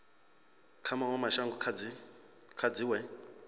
kha mawe mashango kha dziwe